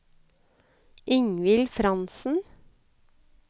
Ingvild Frantzen